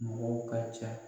Mɔgɔw ka ca.